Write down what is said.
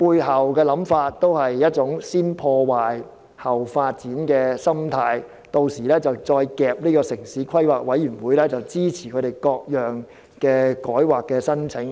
他的想法其實建基於一種"先破壞，後發展"的心態，而他們屆時便可強迫城市規劃委員會批准他們各項改劃申請。